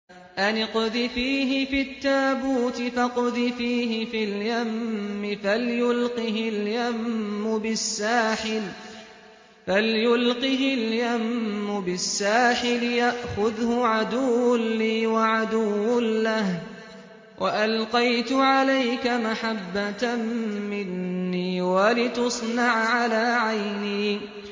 أَنِ اقْذِفِيهِ فِي التَّابُوتِ فَاقْذِفِيهِ فِي الْيَمِّ فَلْيُلْقِهِ الْيَمُّ بِالسَّاحِلِ يَأْخُذْهُ عَدُوٌّ لِّي وَعَدُوٌّ لَّهُ ۚ وَأَلْقَيْتُ عَلَيْكَ مَحَبَّةً مِّنِّي وَلِتُصْنَعَ عَلَىٰ عَيْنِي